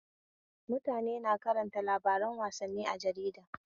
Mutane suna karanta labaran wassani a jarida.